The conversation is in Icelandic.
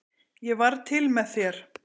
Ég varð til með þér.